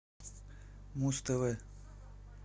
муз тв